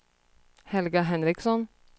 Helga Henriksson